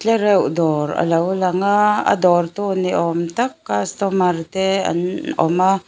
tlereuh dawr a lo lang a a dawrtu ni awm tak customer te an awm a.